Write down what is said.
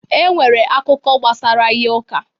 E nwere akụkọ gbasara ihe ụka